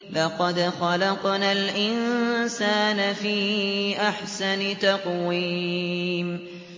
لَقَدْ خَلَقْنَا الْإِنسَانَ فِي أَحْسَنِ تَقْوِيمٍ